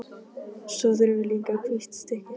Svo þurfum við líka hvítt stykki.